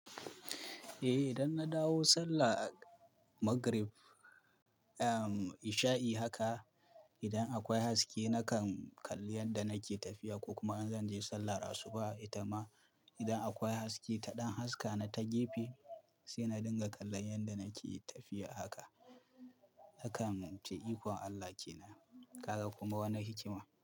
Eh idan na dawo sallah magrib, isha'i haka idan akwai haske nakan kalli yanda nake tafiya ko kuma in zan je sallar asuba ita ma idan akwai haske, ta ɗan haska na ta gefe sai na dinga kallon yanda nake tafiya haka. Hakan nan muce ikon Allah ke nan. Ka ga kuma wani hikima?